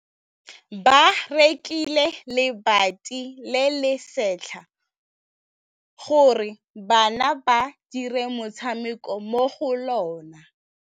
Ba rekile lebati le le setlha gore bana ba dire motshameko mo go lona.